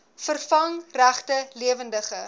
vervang regte lewendige